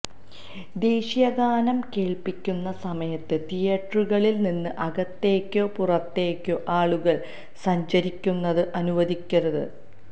ദേശീയഗാനം കേള്പ്പിക്കുന്ന സമയത്ത് തിയേറ്ററുകളില്നിന്ന് അകത്തേക്കോ പുറത്തേക്കോ ആളുകള് സഞ്ചരിക്കുന്നത് അനുവദിക്കരുത്